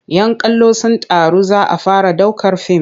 "Yan kallo sun taru za a fara ɗaukar fim.